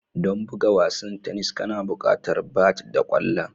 Don buga wasan tennis kana buƙatar bat da ƙwallon